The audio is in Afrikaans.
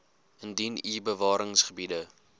indien u bewaringsgebiede